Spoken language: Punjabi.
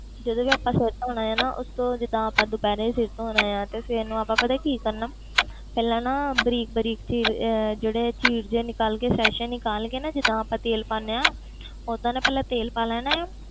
ਜਦੋਂ ਵੀ ਆਪਾਂ ਸਿਰ ਧੌਣਾ ਹੈ ਨਾ ਉਸ ਤੋਂ ਜਿੱਦਾਂ ਆਪਾਂ ਦੁਪਿਹਰੇ ਸਿਰ ਧੌਣਾ ਹੈ ਤੇ ਸਵੇਰ ਨੂੰ ਪਤਾ ਆਪਾਂ ਕੀ ਕਰਨਾ ਪਹਿਲਾਂ ਨਾ ਬਰੀਕ ਬਰੀਕ ਚੀਰ ਅਹ ਜਿਹੜੇ ਚੀਰ ਜਿਹੇ ਨਿਕਾਲ ਕੇ ਸੈਸੇ ਨਿਕਾਲ ਕੇ ਨਾ ਜਿੱਦਾਂ ਆਪਾਂ ਤੇਲ ਪਾਉਂਦੇ ਹਾਂ ਓਦਾਂ ਨਾ ਪਹਿਲਾਂ ਤੇਲ ਪਾ ਲੈਣਾ ਹੈ,